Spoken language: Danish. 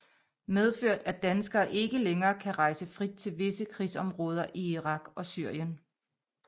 Medført at danskere ikke længere kan rejse frit til visse krigsområder i Irak og Syrien